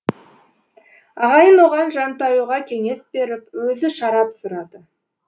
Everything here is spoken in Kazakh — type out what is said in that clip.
ағайын оған жантаюға кеңес беріп өзі шарап сұрады